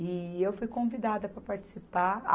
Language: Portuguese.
E eu fui convidada para participar.